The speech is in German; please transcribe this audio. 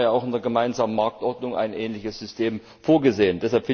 Immerhin haben wir ja auch in der gemeinsamen Marktordnung ein ähnliches System vorgesehen.